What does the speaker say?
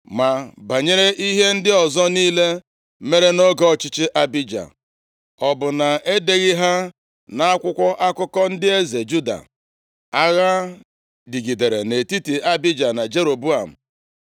Ma banyere ihe ndị ọzọ niile mere nʼoge ọchịchị Abija, o bụ na e deghị ha nʼakwụkwọ akụkọ ndị eze Juda? Agha dịgidere nʼetiti Abija na Jeroboam.